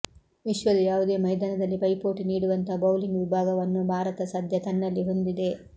ವಿಶ್ವದ ಯಾವುದೇ ಮೈದಾನದಲ್ಲಿ ಪೈಪೋಟಿ ನೀಡುವಂಥ ಬೌಲಿಂಗ್ ವಿಭಾಗವನ್ನು ಭಾರತ ಸದ್ಯ ತನ್ನಲ್ಲಿ ಹೊಂದಿದೆ